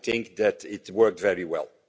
I think that it worked very well.